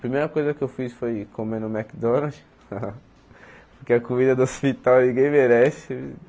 Primeira coisa que eu fiz foi comer no McDonald's, porque a comida do hospital ninguém merece.